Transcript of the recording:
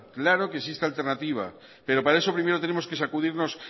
claro que existe alternativa pero para eso primero tenemos que sacudirnos